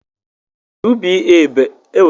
Uba bu ezigbo nwoke nye nwunye ya.